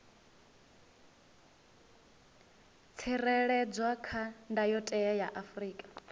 tsireledzwa kha ndayotewa ya afrika